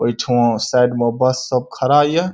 ओयठा side में bus सब खड़ा ये।